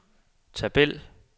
tabel